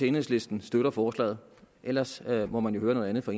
enhedslisten støtter forslaget og ellers må man jo høre noget andet fra